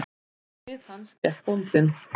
Við hlið hans gekk bóndinn.